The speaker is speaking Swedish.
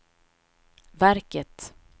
verket